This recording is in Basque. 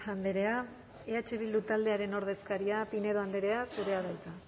andrea eh bildu taldearen ordezkaria pinedo andrea zurea da hitza